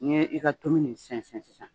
N'i i ka tulu nin sɛnsɛn sisan